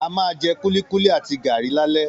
A máa jẹ kúlíkúlí àti gàrí lálẹ́